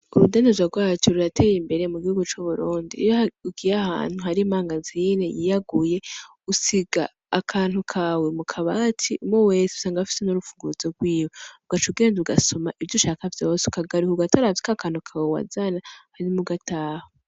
Urudandazwa rwacu rurateye imbere mu gihugu c'uburundi iyo ugiye ahantu hari mangazine yiyaguye usiga akantu kawe mukabati umwe wese usanga afise n'urupfunguruzo rwiwe ugaca ugenda ugasuma ivyo ushaka vyose ukagaruka ugatora akantu kawe wazana hama ugataha.